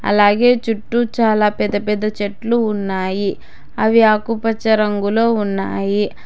అలాగే చుట్టూ చాలా పెద్ద పెద్ద చెట్లు ఉన్నాయి అవి ఆకుపచ్చ రంగులో ఉన్నాయి.